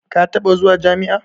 Ka taɓa zuwa jami'a?